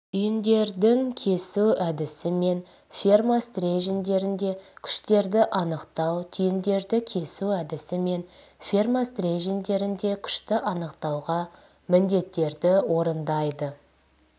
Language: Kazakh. түйіндердің кесу әдісімен ферма стерженьдерінде күштерді анықтау түйіндерді кесу әдісімен ферма стерженьдерінде күшті анықтауға міндеттерді орындайды